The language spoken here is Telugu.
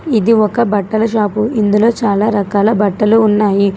ఇది ఒక బట్టల షాపు ఇందులో చాలా రకాల బట్టలు ఉన్నాయి.